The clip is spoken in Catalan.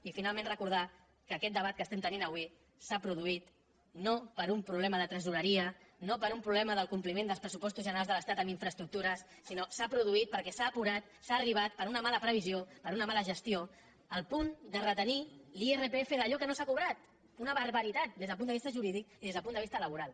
i finalment recordar que aquest debat que estem tenint avui s’ha produït no per un problema de tresoreria no per un problema del compliment dels pressupostos generals de l’estat en infraestructures sinó que s’ha produït perquè s’ha apurat s’ha arribat per una mala previsió per una mala gestió al punt de retenir l’irpf d’allò que no s’ha cobrat una barbaritat des del punt de vista jurídic i des del punt de vista laboral